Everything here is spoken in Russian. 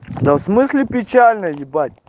да в смысле печально ебать